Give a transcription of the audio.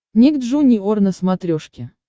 ник джуниор на смотрешке